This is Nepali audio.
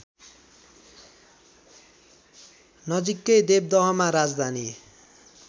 नजिकै देवदहमा राजधानी